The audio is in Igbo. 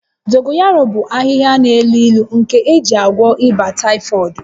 Dogoyaro bụ ahịhịa n'elu ilu nke a na-eji agwọ ịba taịfọdụ